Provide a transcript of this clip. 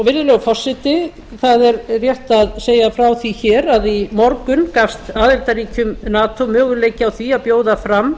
virðulegur forseti það er rétt að segja frá því hér að í morgun gafst aðildarríkjum nato möguleiki á því að bjóða fram